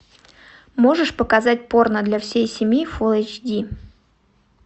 можешь показать порно для всей семьи фулл эйч ди